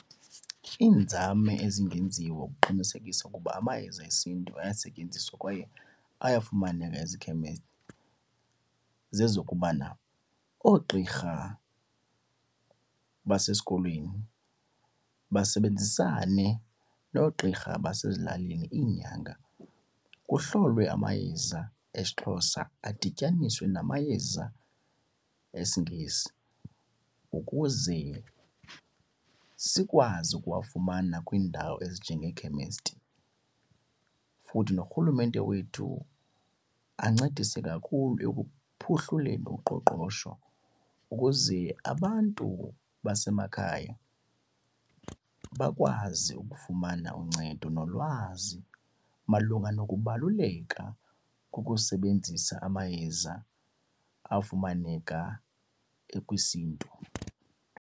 Iinzame ezingenziwa ukuqinisekisa ukuba amayeza esiNtu ayesetyenziswa kwaye ayafumaneka ezikhemesti zezokubana oogqirha basesikolweni basebenzisane noogqirha basezilalini, iinyanga. Kuhlolwe amayeza esiXhosa adityaniswa namayeza esiNgesi ukuze sikwazi ukuwafumana kwiindawo ezinjengeekhemesti. Futhi norhulumente wethu ancedise kakhulu uqoqosho ukuze abantu basemakhaya bakwazi ukufumana uncedo nolwazi malunga nokubaluleka kokusebenzisa amayeza afumaneka ekwisiNtu.